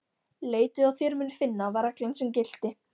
Leitið og þér munuð finna, var reglan sem gilti.